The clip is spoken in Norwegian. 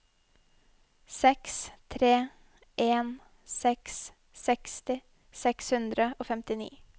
seks tre en seks seksti seks hundre og femtini